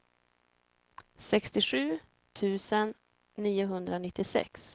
sextiosju tusen niohundranittiosex